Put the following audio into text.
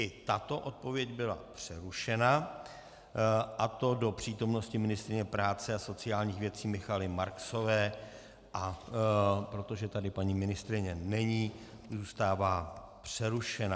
I tato odpověď byla přerušena, a to do přítomnosti ministryně práce a sociálních věcí Michaely Marksové, a protože tady paní ministryně není, zůstává přerušena.